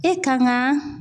E kan ka